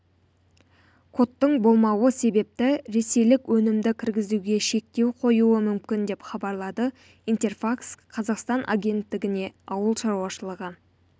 кодтың болмауы себепті ресейлік өнімді кіргізуге шектеу қоюы мүмкін деп хабарлады интерфакс-қазақстан агенттігіне ауыл шаруашылығы